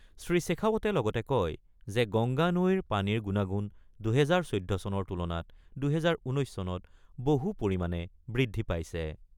শ্ৰী শেখাৱতে লগতে কয় যে গংগা নৈৰ পানীৰ গুণাগুণ ২০১৪ চনৰ তুলনাত ২০১৯ চনত বহু পৰিমাণে বৃদ্ধি পাইছে।